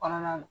Kɔnɔna na